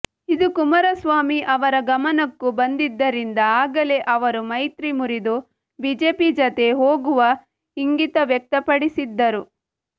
ಇದು ಕುಮಾರಸ್ವಾಮಿ ಅವರ ಗಮನಕ್ಕೂ ಬಂದಿದ್ದರಿಂದ ಆಗಲೇ ಅವರು ಮೈತ್ರಿ ಮುರಿದು ಬಿಜೆಪಿ ಜತೆ ಹೋಗುವ ಇಂಗಿತ ವ್ಯಕ್ತಪಡಿಸಿದ್ದರು